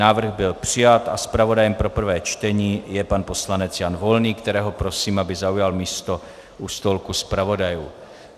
Návrh byl přijat a zpravodajem pro prvé čtení je pan poslanec Jan Volný, kterého prosím, aby zaujal místo u stolku zpravodajů.